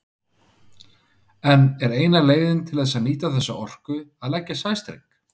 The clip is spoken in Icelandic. En er eina leiðin til þess að nýta þessa orku að leggja sæstreng?